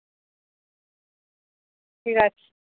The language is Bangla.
ঠিক আছে